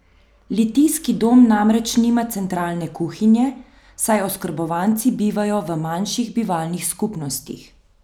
Litijski dom namreč nima centralne kuhinje, saj oskrbovanci bivajo v manjših bivalnih skupnostih.